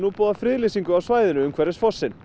boðað friðlýsingu á svæðinu umhverfis fossinn